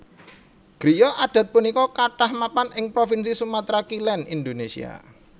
Griya adat punika kathah mapan ing provinsi Sumatra Kilèn Indonésia